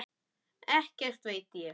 Ekkert veit ég.